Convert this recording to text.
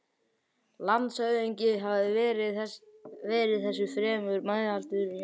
Landshöfðingi hafði verið þessu fremur meðmæltur í sumar.